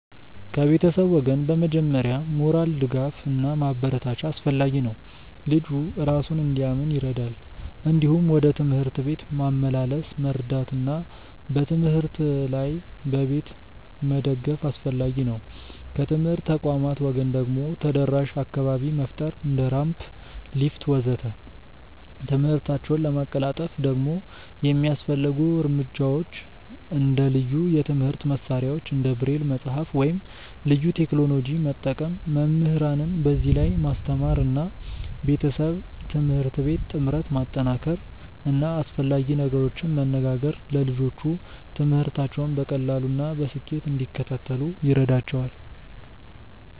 ከቤተሰብ ወገን በመጀመሪያ ሞራል ድጋፍ እና ማበረታቻ አስፈላጊ ነው፣ ልጁ እራሱን እንዲያምን ይረዳል። እንዲሁም ወደ ትምህርት ቤት ማመላለስ መርዳት እና በትምህርት ላይ በቤት መደገፍ አስፈላጊ ነው። ከትምህርት ተቋማት ወገን ደግሞ ተደራሽ አካባቢ መፍጠር እንደ ራምፕ፣ ሊፍት ወዘተ..።ትምህርታቸውን ለማቀላጠፍ ደግሞ የሚያስፈልጉ እርምጃዎች እንደ ልዩ የትምህርት መሳሪያዎች እንደ ብሬል መጽሐፍ ወይም ልዩ ቴክኖሎጂ መጠቀም፣ መምህራንን በዚህ ላይ ማስተማር እና ቤተሰብ-ትምህርት ቤት ጥምረት ማጠናከር እና አስፈላጊ ነገሮችን መነጋገር ለልጆቹ ትምህርታቸውን በቀላሉ እና በስኬት እንዲከታተሉ ይረዳቸዋል።